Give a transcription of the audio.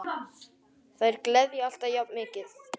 Þær gleðja alltaf jafn mikið.